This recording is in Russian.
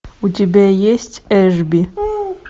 у тебя есть эшби